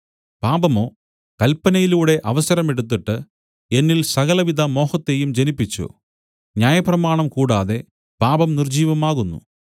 പാപമോ കല്പനയിലൂടെ അവസരമെടുത്തിട്ട് എന്നിൽ സകലവിധ മോഹത്തെയും ജനിപ്പിച്ചു ന്യായപ്രമാണം കൂടാതെ പാപം നിർജ്ജീവമാകുന്നു